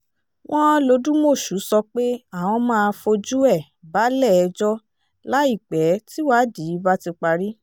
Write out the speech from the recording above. wọ́n lodúmọ̀ṣù sọ pé àwọn máa fojú ẹ̀ balẹ̀-ẹjọ́ láìpẹ́ tíwádìí bá ti parí